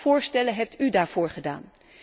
Welke voorstellen heeft u daarvoor gedaan?